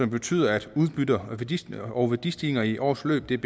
betyder at udbytte og værdistigninger og værdistigninger i årets løb bliver